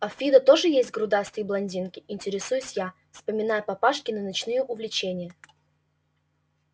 а в фидо тоже есть грудастые блондинки интересуюсь я вспоминая папашкины ночные увлечения